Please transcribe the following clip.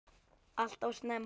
Alltof snemma.